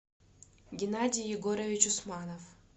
геннадий егорович усманов